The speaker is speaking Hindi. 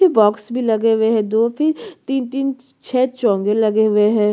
बॉक्स भी लगे हुए है दो फिर तीन तीन छः चोंगे लगे हुए है।